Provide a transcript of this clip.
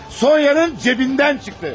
Sonyanın cibindən çıxdı.